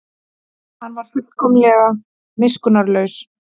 Hann var fullkomlega miskunnarlaus.